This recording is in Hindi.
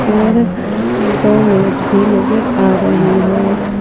और दो मेज भी नजर आ रही है।